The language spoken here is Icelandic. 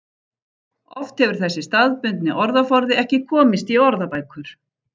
Oft hefur þessi staðbundni orðaforði ekki komist í orðabækur.